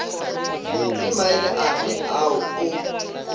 ke maele afe ao o